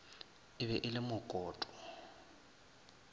e be e le mokoto